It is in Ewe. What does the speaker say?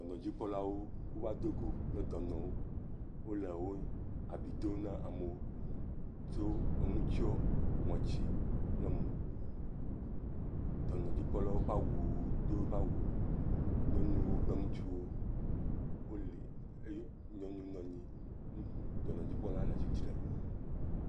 Dɔnɔdzikpɔlawo ƒoƒu va do go kple dɔnɔwo, wole wo abi dom na amewo tsɔ enu tsiɔ ŋɔti kple mo. Dɔnɔdzikpɔlawo ƒe awu do ƒa wu, ŋutsu kple nyɔnu woli eye nyɔnu nɔ anyi ŋutsu dɔnɔdzikpɔlawo le tsitre.